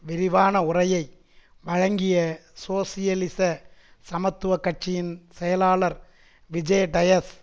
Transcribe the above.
விரிவான உரையை வழங்கிய சோசியலிச சமத்துவ கட்சியின் செயலாளர் விஜே டயஸ்